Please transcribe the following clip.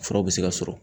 Furaw bɛ se ka sɔrɔ